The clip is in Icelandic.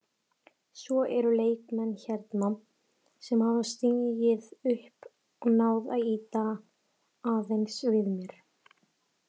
Svo eru leikmenn hérna sem hafa stigið upp og náð að ýta aðeins við mér.